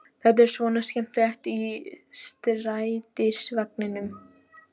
Þetta er svona skemmtiferð í strætisvagninum!